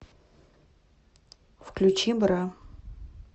включи бра